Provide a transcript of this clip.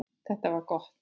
Þetta var gott.